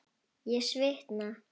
Ég svitna.